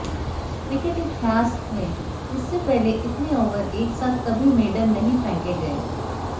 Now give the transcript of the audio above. cricket इतिहास में इससे पहले इतने ओवर एक साथ कभी मेडन नहीं फेंके गए